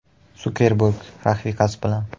Sukerberg rafiqasi bilan.